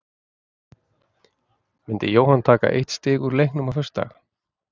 Myndi Jóhann taka eitt stig úr leiknum á föstudag?